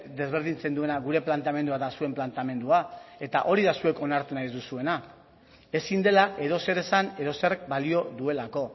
desberdintzen duena gure planteamendua eta zuen planteamendua eta hori da zuek onartu nahi ez duzuena ezin dela edozer esan edozerrek balio duelako